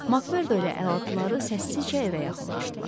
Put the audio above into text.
MacMordo ilə əlaltıları səssizcə evə yaxınlaşdılar.